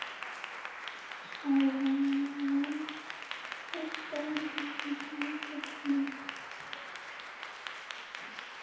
Blessaður gamli maðurinn hafði dálítið af því sem við köllum